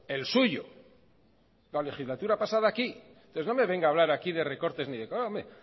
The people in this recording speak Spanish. el suyo la legislatura pasada aquí entonces no me venga a hablar aquí de recortes ni de nada